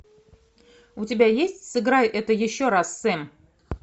у тебя есть сыграй это еще раз сэм